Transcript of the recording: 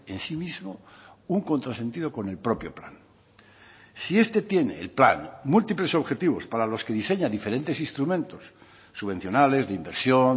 en sí mismo un contrasentido con el propio plan si este tiene el plan múltiples objetivos para los que diseña diferentes instrumentos subvencionales de inversión